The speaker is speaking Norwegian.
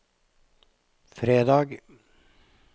fredag